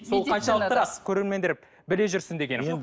сол қаншалықты рас көрермендер біле жүрсін дегенім